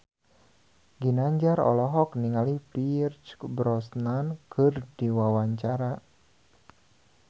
Ginanjar olohok ningali Pierce Brosnan keur diwawancara